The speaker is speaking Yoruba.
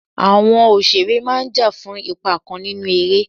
Àwọn òṣèré máà ń jà fún ipa kan nínú eré.